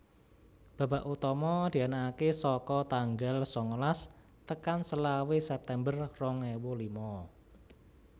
Babak utama dianakaké saka tanggal sangalas tekan selawe September rong ewu lima